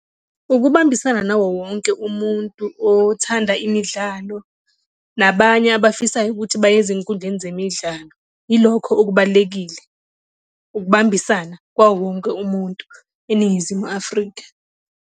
Ukubambisana nawo wonke umuntu othanda imidlalo nabanye abafisayo ukuthi baye ezinkundleni zemidlalo, ilokho okubalulekile ukubambisana kwawowonke umuntu eNingizimu Afrika.